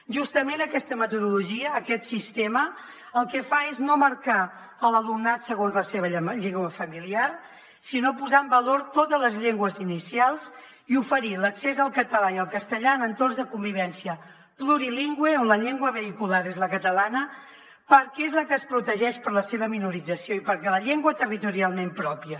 justament aquesta metodologia aquest sistema el que fa és no marcar l’alumnat segons la seva llengua familiar sinó posar en valor totes les llengües inicials i oferir l’accés al català i al castellà en entorns de convivència plurilingüe on la llengua vehicular és la catalana perquè és la que es protegeix per la seva minorització i perquè és la llengua territorialment pròpia